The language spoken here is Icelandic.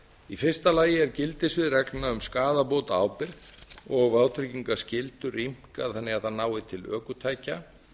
í fyrsta lagi er gildissvið reglna um skaðabótaábyrgð og vátryggingarskyldur rýmkaðar þannig að þær nái til ökutækja